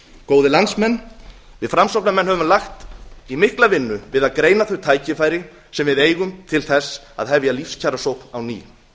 góðir landsmenn við framsóknarmenn höfum lagt í mikla vinnu við að greina þau tækifæri sem við eigum til þess að hefja lífskjarasókn á ný